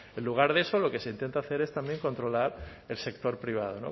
en lugar de eso lo que se intenta hacer es controlar el sector privado